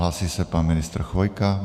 Hlásí se pan ministr Chvojka.